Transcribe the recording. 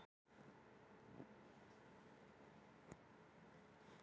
En vindurinn sleit orðin úr munni hans og sáldraði þeim til einskis yfir hafflötinn.